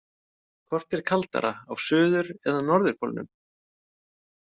Hvort er kaldara á suður- eða norðurpólnum?